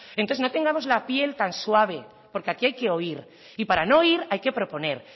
entonces no tengamos la piel tan suave porque aquí hay que oír y para no oír hay que proponer